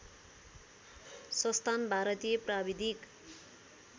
संस्थान भारतीय प्राविधिक